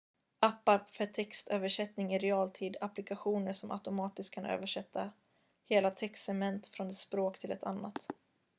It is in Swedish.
appar för textöversättning i realtid applikationer som automatiskt kan översätta hela textsegment från ett språk till ett annat